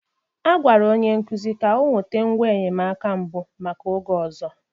A gwara onye nkuzi ka ọ nweta ngwa enyemaka mbụ maka oge ọzọ.